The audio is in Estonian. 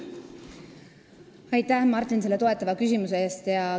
Aitäh, Martin, selle toetava küsimuse eest!